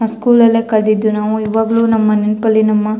School ಲಲ್ಲೆ ಕದ್ದಿದ್ದು ನಾವು ಇವಾಗ್ಲೂ ನಮ್ಮ ನೆನಪಲ್ಲಿ ನಮ್ಮ.